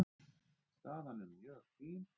Staðan er mjög fín.